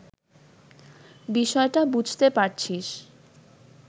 বিষয়টা বুঝতে পারছিস